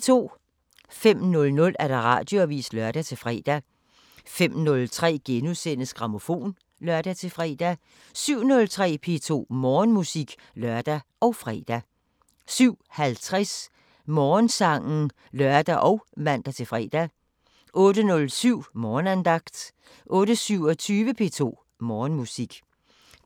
05:00: Radioavisen (lør-fre) 05:03: Grammofon *(lør-fre) 07:03: P2 Morgenmusik (lør og fre) 07:50: Morgensangen (lør og man-fre) 08:07: Morgenandagten 08:27: P2 Morgenmusik